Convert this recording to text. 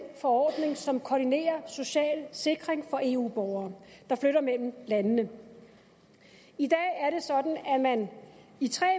forordning som koordinerer social sikring for eu borgere der flytter mellem landene i dag er det sådan at man i tre